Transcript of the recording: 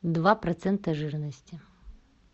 два процента жирности